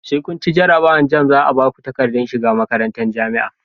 Sai kunci jarabawar jamb zaa Baku takaddar shiga makarantar jamia